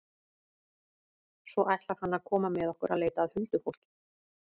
Svo ætlar hann að koma með okkur að leita að huldufólki.